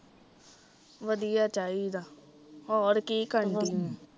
ਵਧੀਆ ਚਾਹੀਦਾ ਹੋਰ ਕੀ ਕਰਣ ਡਈ ਊ